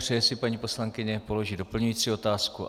Přeje si paní poslankyně položit doplňující otázku?